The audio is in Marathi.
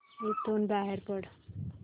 इथून बाहेर पड